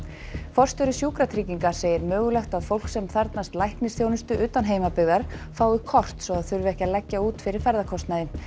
forstjóri Sjúkratrygginga segir mögulegt að fólk sem þarfnast læknisþjónustu utan heimabyggðar fái kort svo það þurfi ekki að leggja út fyrir ferðakostnaði